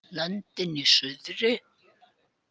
Löndin í suðri.